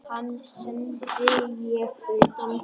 Hann sendi ég utan.